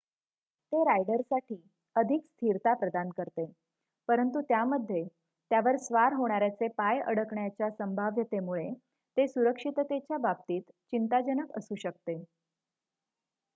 ते रायडरसाठी अधिक स्थिरता प्रदान करते परंतु त्यामध्ये त्यावर स्वार होणाऱ्याचे पाय अडकण्याच्या संभाव्यतेमुळे ते सुरक्षिततेच्या बाबतीत चिंताजनक असू शकते